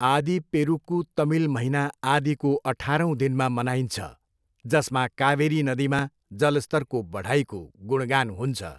आदी पेरुक्कू तमिल महिना आदिको अठारौँ दिनमा मनाइन्छ, जसमा कावेरी नदीमा जलस्तरको बढाइको गुणगान हुन्छ।